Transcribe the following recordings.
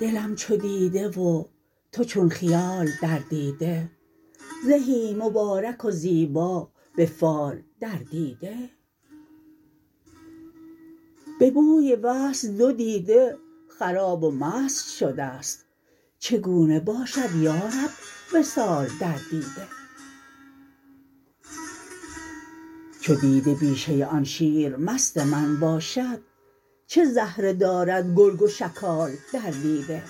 دلم چو دیده و تو چون خیال در دیده زهی مبارک و زیبا به فال در دیده به بوی وصل دو دیده خراب و مست شده ست چگونه باشد یا رب وصال در دیده چو دیده بیشه آن شیرمست من باشد چه زهره دارد گرگ و شکال در دیده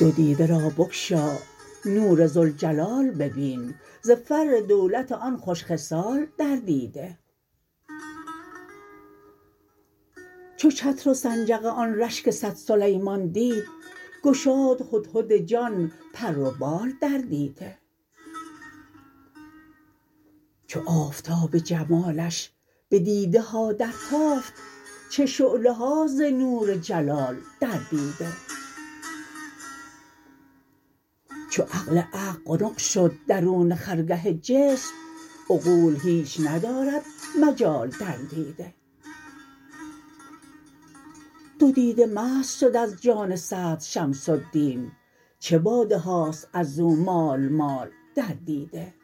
دو دیده را بگشا نور ذوالجلال ببین ز فر دولت آن خوش خصال در دیده چو چتر و سنجق آن رشک صد سلیمان دید گشاد هدهد جان پر و بال در دیده چو آفتاب جمالش بدیده ها درتافت چه شعله هاست ز نور جلال در دیده چو عقل عقل قنق شد درون خرگه جسم عقول هیچ ندارد مجال در دیده دو دیده مست شد از جان صدر شمس الدین چه باده هاست از او مال مال در دیده